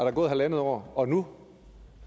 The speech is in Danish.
er gået halvandet år og nu